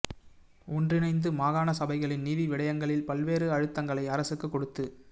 ஒன்றிணைத்து மாகாண சபைகளின் நிதி விடயங்களில் பல்வேறு அழுத்தங்களை அரசுக்கு கொடுத்து